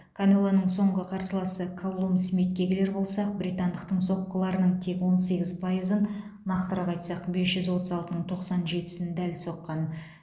канелоның соңғы қарсыласы каллум смитке келер болсақ британдықтың соққыларының тек он сегіз пайызын нақтырақ айтсақ бес жүз отыз алтының тоқсан жетісін дәл соққан